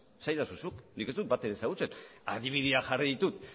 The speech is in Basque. esaidazu zuk nik ez dut bat ere ezagutzen adibideak jarri ditu